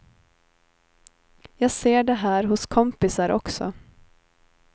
Jag ser det här hos kompisar också.